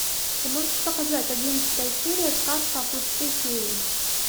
ты можешь показать одиннадцатая серия сказка о хвосте феи